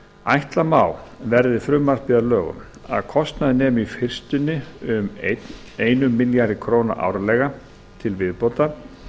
ætla má verði frumvarpið að lögum að kostnaður nemi í fyrstunni um einum milljarði króna árlega til viðbótar